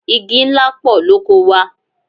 Igi ńlá pọ̀ lóko wa.